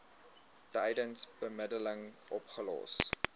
tydens bemiddeling opgelos